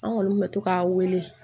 An kɔni bɛ to k'a wele